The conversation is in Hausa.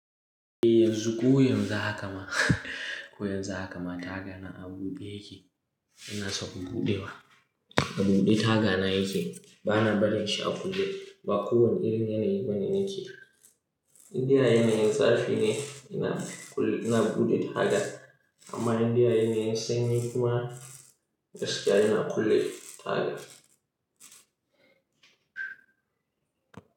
Eh yanzu koyon zu hakama, koyon zu hakama taga na a bude yake, ina son buɗewa. A bude taga na yake, bana barin shi a buɗe ba ko wane irin yanayi ni nake. Indai yana yin zafi ne ina, ina bude taga amma indai yana yin sanyi kuma gaskiya yana kulle taga.